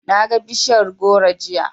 Naga bishiyar goro jiya.